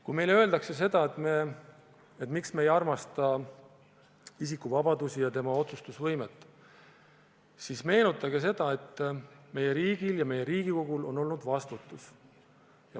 Kui meile öeldakse, et miks me ei armasta isiku vabadust ja tema otsustusvõimet, siis meenutage, et meie riigil ja meie Riigikogul on olnud vastutus.